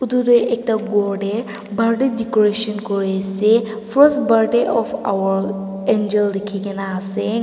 etu tu ekta gour te birthday decoration kori ase first birthday of our angel likhe kina ase.